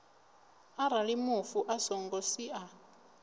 arali mufu a songo sia